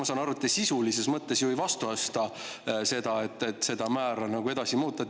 Ma saan aru, et te sisulises mõttes ju ei vastusta seda, et seda määra tuleks edaspidi veel muuta.